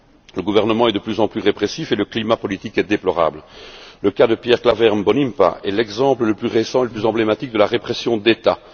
Le gouvernement est de plus en plus répressif et le climat politique est déplorable. Le cas de Pierre Claver Mbonimpa est l'exemple le plus récent et le plus emblématique de la répression d'État.